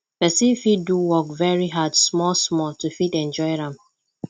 person fit do work wey hard small small to fit enjoy am